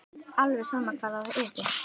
Alveg sama hvar það yrði.